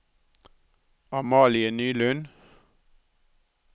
Amalie Nylund